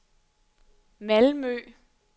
Malmø